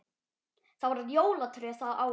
Það var jólatré það árið.